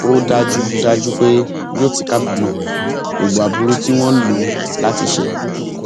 ó dájú dájú pé yóò ti kábàámọ gbogbo aburú tí wọn lò ó láti ṣe